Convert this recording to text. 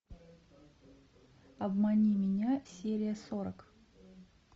обмани меня серия сорок